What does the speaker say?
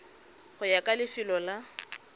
go ya ka lefelo la